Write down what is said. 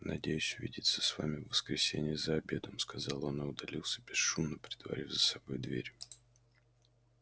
надеюсь увидеться с вами в воскресенье за обедом сказал он и удалился бесшумно притворив за собой дверь